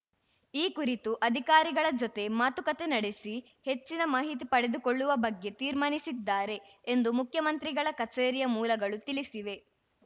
ಈ ಕುರಿತು ಅಧಿಕಾರಿಗಳ ಜೊತೆ ಮಾತುಕತೆ ನಡೆಸಿ ಹೆಚ್ಚಿನ ಮಾಹಿತಿ ಪಡೆದುಕೊಳ್ಳುವ ಬಗ್ಗೆ ತೀರ್ಮಾನಿಸಿದ್ದಾರೆ ಎಂದು ಮುಖ್ಯಮಂತ್ರಿಗಳ ಕಚೇರಿಯ ಮೂಲಗಳು ತಿಳಿಸಿವೆ